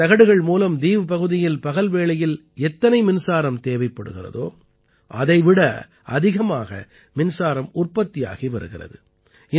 இந்தத் தகடுகள் மூலம் தீவ் பகுதியில் பகல் வேளையில் எத்தனை மின்சாரம் தேவைப்படுகிறதோ அதை விட அதிகமாக மின்சாரம் உற்பத்தியாகி வருகிறது